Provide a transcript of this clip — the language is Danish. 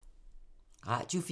Radio 4